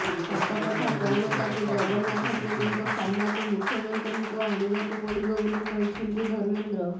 ସତକଥା କଣ ତାକୁ ଜଗନ୍ନାଥ ପ୍ରେମୀଙ୍କ ସାମ୍ନାକୁ ମୁଖ୍ୟମନ୍ତ୍ରୀଙ୍କୁ ଆଣିବାକୁ ପଡ଼ିବ ବୋଲି କହିଛନ୍ତି ଧର୍ମେନ୍ଦ୍ର